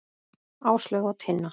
Áslaug og Tinna.